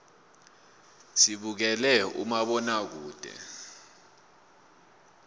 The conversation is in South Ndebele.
sibukela umabonakude